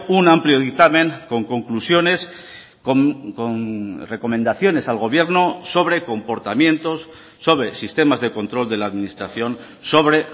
un amplio dictamen con conclusiones con recomendaciones al gobierno sobre comportamientos sobre sistemas de control de la administración sobre